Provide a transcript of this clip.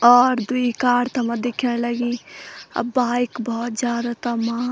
और द्वि कार तमा दिखेंण लगीं अ बाइक बहौत जादा तमा।